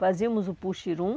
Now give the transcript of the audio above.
Fazíamos o Puxirum,